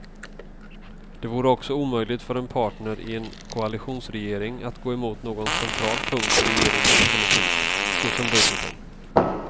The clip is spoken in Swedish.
Det vore också omöjligt för en partner i en koalitionsregering att gå emot någon central punkt i regeringens politik, såsom budgeten.